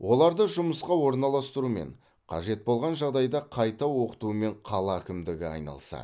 оларды жұмысқа орналастырумен қажет болған жағдайда қайта оқытумен қала әкімдігі айналысады